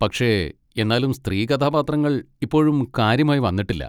പക്ഷേ എന്നാലും സ്ത്രീ കഥാപാത്രങ്ങൾ ഇപ്പോഴും കാര്യമായി വന്നിട്ടില്ല.